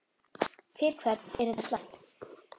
Fyrir hvern er þetta slæmt?